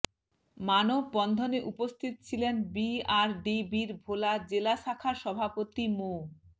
মানববন্ধনে উপস্থিত ছিলেন বিআরডিবির ভোলা জেলা শাখার সভাপতি মো